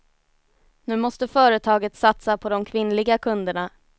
Nu måste företaget satsa på de kvinnliga kunderna.